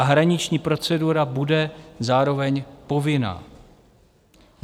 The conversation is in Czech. A hraniční procedura bude zároveň povinná.